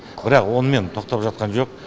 бірақ онымен тоқтап жатқан жоқ